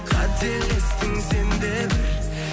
қателестің сен де бір